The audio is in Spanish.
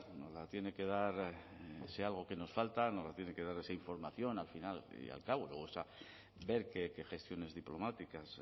nos la tiene que dar si hay algo que nos falta nos la tiene que dar esa información al final y al cabo o sea ver qué gestiones diplomáticas